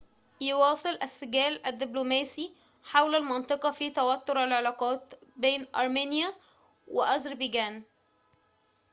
يواصل السجال الدبلوماسي حول المنطقة في توتر العلاقات بين أرمينيا و أذربيجان